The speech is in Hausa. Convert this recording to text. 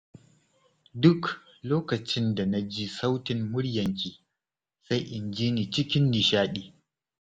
Duk lokacin da na ji sautin muryarki, sai in ji ni cikin nishaɗi.